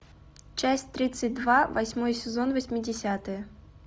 часть тридцать два восьмой сезон восьмидесятые